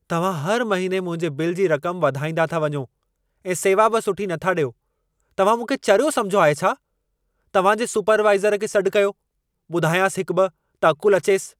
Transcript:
तव्हां हर महिने मुंहिंजे बिल जी रक़म वधाईंदा था वञो ऐं सेवा बि सुठी नथा ॾियो। तव्हां मूंखे चरियो समिझो आहे छा? तव्हांजे सुपरवाइज़र खे सॾ कयो। ॿुधायांसि हिकु-ॿ त अक़ुलु अचेसि।